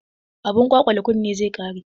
Abun kwalkwale kunne zai ƙare.